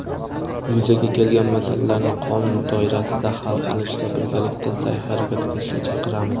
yuzaga kelgan masalalarni qonun doirasida hal qilishda birgalikda saʼy-harakat qilishga chaqiramiz.